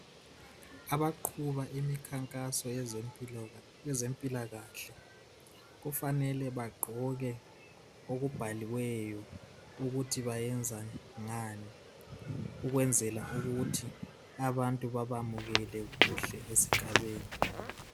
Abaqhuba imikhankaso yeze mpilakahle kufanele bagqoke okubhaliweyo ukuthi benza ngani ukwenzela ukuthi abantu bebayamukele kuhle esigabeni